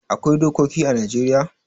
Akwai dokoki ã Najeriya